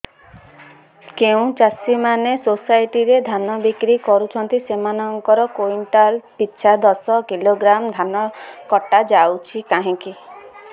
ଯେଉଁ ଚାଷୀ ମାନେ ସୋସାଇଟି ରେ ଧାନ ବିକ୍ରି କରୁଛନ୍ତି ସେମାନଙ୍କର କୁଇଣ୍ଟାଲ ପିଛା ଦଶ କିଲୋଗ୍ରାମ ଧାନ କଟା ଯାଉଛି କାହିଁକି